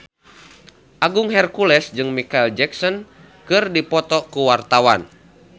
Agung Hercules jeung Micheal Jackson keur dipoto ku wartawan